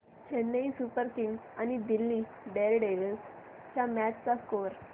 Chennai Super Kings आणि Delhi Daredevils च्या match चा स्कोअर